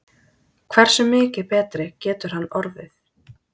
Hversu mikið betri getur hann orðið?